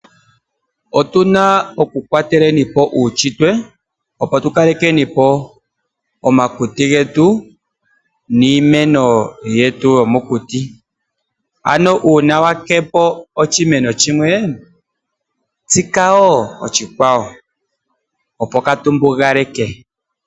Otuna okukwatelapo uunshitwe ano tukalekepo omakuti niimeno yetu yomokuti. Uuna wakepo oshimeno shimwe tsika wo oshikwawo opo kaatumbugaleke.